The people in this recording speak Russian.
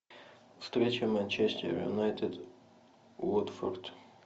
встреча манчестер юнайтед уотфорд